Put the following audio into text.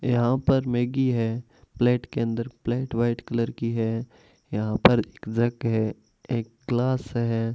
यहां पर मैगी है प्लेट के अंदर प्लेट व्हाइट कलर की है यहां पर एक जग है एक ग्लास है।